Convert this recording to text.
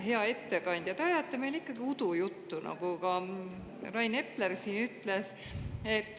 Hea ettekandja, te ajate meile ikkagi udujuttu, nagu Rain Epler siin ütles.